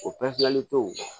O tɛ o